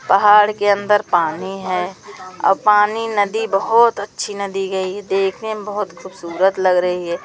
पहाड़ के अंदर पानी है। ओ पानी नदी बहुत अच्छी नदी गई देखने में बहुत खूबसूरत लग रही है।